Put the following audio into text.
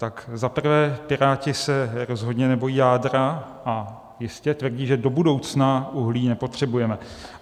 Tak za prvé, Piráti se rozhodně nebojí jádra a jistě tvrdí, že do budoucna uhlí nepotřebujeme.